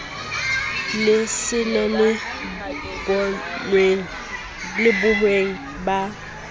le sele le bohweng ba